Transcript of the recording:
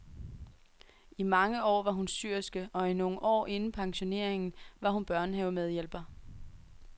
I mange år var hun syerske, og i nogle år inden pensioneringen var hun børnehavemedhjælper.